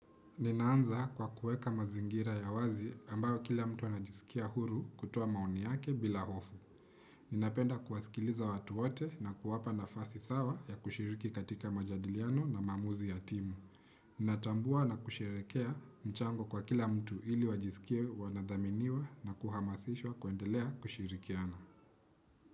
Ninaanza kwa kuweka mazingira ya wazi ambayo kila mtu anajisikia huru kutoa maoni yake bila hofu. Ninapenda kuwasikiliza watu wote na kuwapa na fasi sawa ya kushiriki katika majadiliano na maamuzi ya timu. Natambua na kushirekea mchango kwa kila mtu ili wajisikie wanadhaminiwa na kuhamasishwa kuendelea kushirikiana.